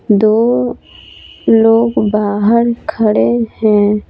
दो लोग बाहर खड़े हैं।